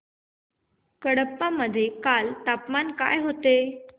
कडप्पा मध्ये काल तापमान काय होते